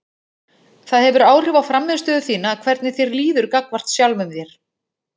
Það hefur áhrif á frammistöðu þína hvernig þér líður gagnvart sjálfum þér.